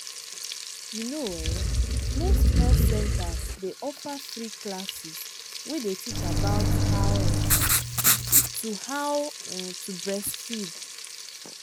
you know ehnmost health centers day offer free classes way day teach about how um to how um to breastfeed.